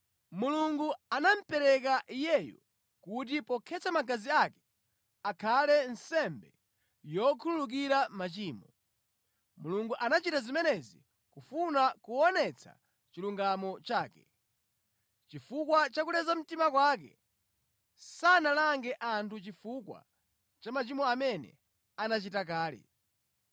Mulungu anamupereka Iyeyu kuti pokhetsa magazi ake, akhale nsembe yokhululukira machimo. Mulungu anachita zimenezi kufuna kuonetsa chilungamo chake. Chifukwa cha kuleza mtima kwake, sanalange anthu chifukwa cha machimo amene anachita kale.